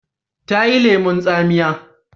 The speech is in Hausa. ta yi lemun tsamiya